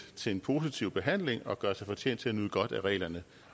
til en positiv behandling og gøre sig fortjent til at nyde godt af reglerne